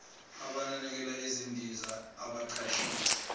abanakekela izindiza abaqashiwe